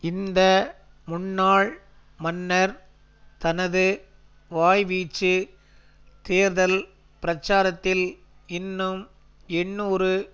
இந்த முன்னாள் மன்னர் தனது வாய்வீச்சு தேர்தல் பிரச்சாரத்தில் இன்னும் எண்ணூறு